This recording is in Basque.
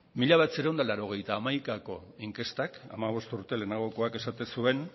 mila bederatziehun eta laurogeita hamaikako inkestak hogeita bost urte lehenagokoak esaten zuen